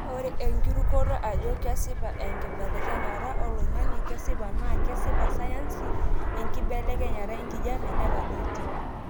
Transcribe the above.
Ore enkirukoto ajo kesipa enkibelekenyata oloingange kesipa naa kesipa sayansi enkibelekenyata enkijiepe netadoitie.